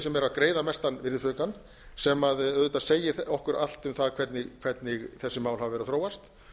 sem eru að greiða mesta virðisaukann sem auðvitað segir okkur allt um það hvernig þessi mál hafa verið að þróast